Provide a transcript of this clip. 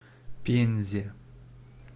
пензе